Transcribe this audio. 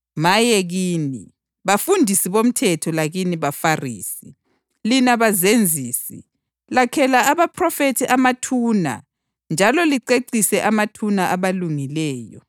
Maye kini, bafundisi bomthetho lakini baFarisi, lina bazenzisi! Lakhela abaphrofethi amathuna njalo licecise amathuna abalungileyo.